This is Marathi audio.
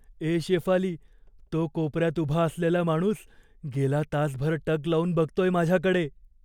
ए शेफाली, तो कोपऱ्यात उभा असलेला माणूस गेला तासभर टक लाऊन बघतोय माझ्याकडे.